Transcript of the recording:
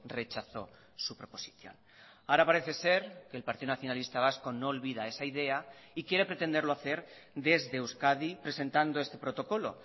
rechazó su proposición ahora parece ser que el partido nacionalista vasco no olvida esa idea y quiere pretenderlo hacer desde euskadi presentando este protocolo